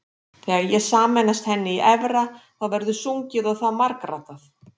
Þegar ég sameinast henni í efra þá verður sungið og það margraddað.